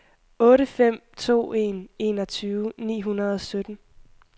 otte fem to en enogtyve ni hundrede og sytten